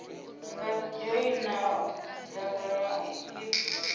nga dzhoina dzangano l a